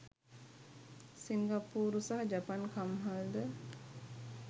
සිංගප්පූරු සහ ජපන් කම්හල්ද